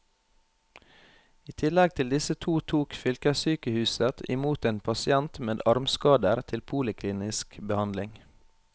I tillegg til disse to tok fylkessykehuset i mot en pasient med armskader til poliklinisk behandling.